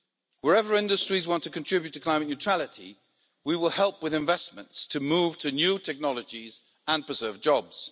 Wherever industries want to contribute to climate neutrality, we will help with investments to move to new technologies and preserve jobs.